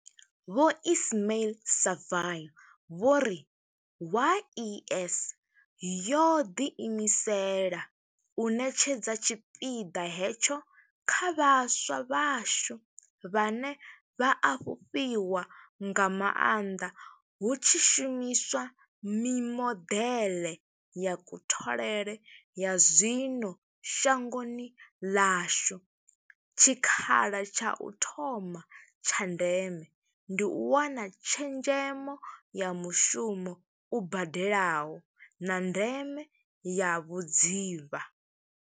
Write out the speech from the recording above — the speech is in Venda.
Vho Ismail-Saville vho ri, YES yo ḓiimisela u ṋetshedza tshipiḓa hetsho kha vhaswa vhashu, vhane vha a fhufhiwa nga maanḓa hu tshi shumi swa mimodeḽe ya kutholele ya zwino shangoni ḽashu, tshikha la tsha u thoma tsha ndeme ndi u wana tshezhemo ya mushumo u badelaho, na ndeme ya vhudzivha.